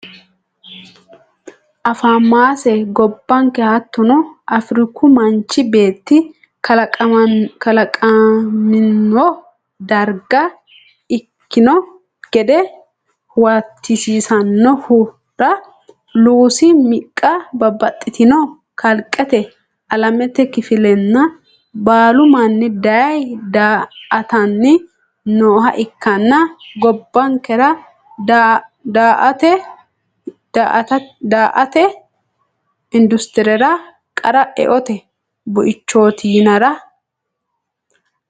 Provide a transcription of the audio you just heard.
afamase gobbanke hattono Afriiku manchi beetti kalaqamino darga ikkino gede huwatisiissanohura Luusi miqqa babbaxitino kalqete alamete kifillanni baalu manni daye daa atanni nooha ikkanna gobbankera daaete industirera qara eote buichooti yinara.